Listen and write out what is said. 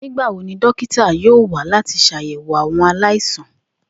Nigbawo ni dókítà yoo wa lati ṣayẹwo awọn alaisan?